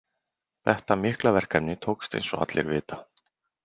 Þetta mikla verkefni tókst eins og allir vita.